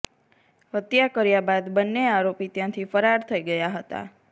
હત્યા કર્યા બાદ બંને આરોપી ત્યાંથી ફરાર થઈ ગયા હતા